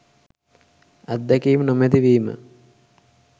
අත්දැකීම් නොමැති වීම